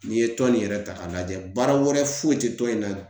N'i ye tɔn nin yɛrɛ ta k'a lajɛ baara wɛrɛ foyi tɛ tɔn in na